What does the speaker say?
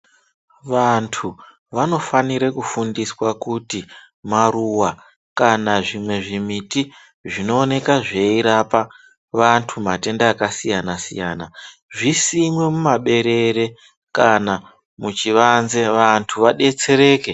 Vantu vanofanire kufundiswa kuti maruwa kana zvimwe zvimiti zvinooneka zveirapa vantu matenda akasiyana siyana zvisinwe mumaberere kana muchivanze vantu vadetsereke.